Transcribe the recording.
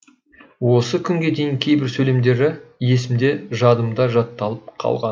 осы күнге дейін кейбір сөйлемдері есімде жадымда жатталып қалған